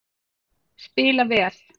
Spila vel